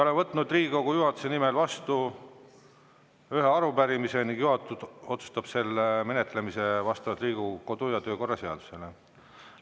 Olen võtnud Riigikogu juhatuse nimel vastu ühe arupärimise ning juhatus otsustab selle menetlemise vastavalt Riigikogu kodu- ja töökorra seadusele.